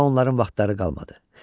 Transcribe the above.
Daha onların vaxtları qalmadı.